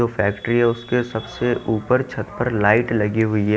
जो फैक्ट्री है उसके सबसे ऊपर छत पर लाइट लगी हुई है।